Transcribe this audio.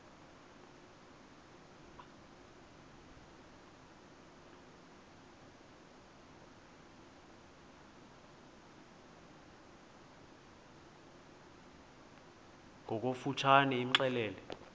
ngokofu tshane imxelele